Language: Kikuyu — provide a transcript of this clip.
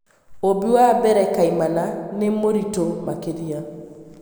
Ũũmbi wa mbere kaimana nĩ mũritũ makĩria.